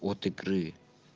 от игры